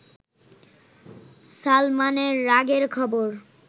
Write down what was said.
সালমানের রাগের খবর